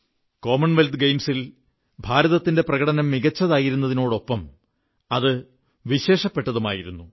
Commonwealth ഗെയിംസിൽ ഇന്ത്യയുടെ പ്രകടനം മികച്ചതായിരുന്നതിനൊപ്പം വിശേഷപ്പെട്ടതുമായിരുന്നു